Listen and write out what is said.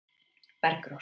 Bergrós